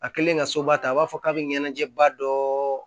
A kɛlen ka soba ta a b'a fɔ k'a bɛ ɲɛnajɛba dɔ